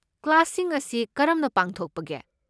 ꯀ꯭ꯂꯥꯁꯁꯤꯡ ꯑꯁꯤ ꯀꯔꯝꯅ ꯄꯥꯡꯊꯣꯛꯄꯒꯦ?